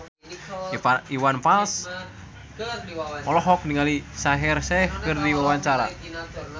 Iwan Fals olohok ningali Shaheer Sheikh keur diwawancara